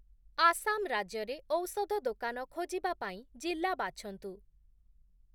ଆସାମ ରାଜ୍ୟରେ ଔଷଧ ଦୋକାନ ଖୋଜିବା ପାଇଁ ଜିଲ୍ଲା ବାଛନ୍ତୁ ।